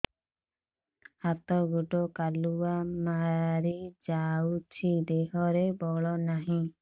ହାତ ଗୋଡ଼ କାଲୁଆ ମାରି ଯାଉଛି ଦେହରେ ବଳ ନାହିଁ